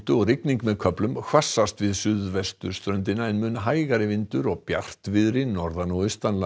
og rigning með köflum hvassast við suðvesturströndina en mun hægari vindur og bjartviðri norðan og